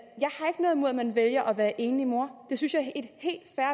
man vælger at være enlig mor det synes jeg